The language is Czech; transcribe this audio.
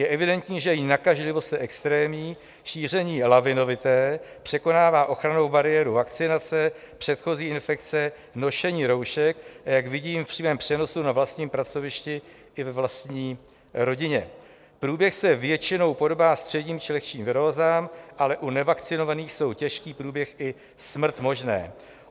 Je evidentní, že její nakažlivost je extrémní, šíření lavinovité, překonává ochrannou bariéru vakcinace, předchozí infekce, nošení roušek, a jak vidím v přímém přenosu na vlastním pracovišti i ve vlastní rodině, průběh se většinou podobá středním či lehčím virózám, ale u nevakcinovaných jsou těžký průběh i smrt možné.